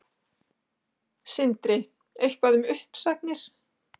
Sindri: Eitthvað um uppsagnir?